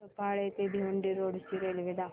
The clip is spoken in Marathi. सफाळे ते भिवंडी रोड ची रेल्वे दाखव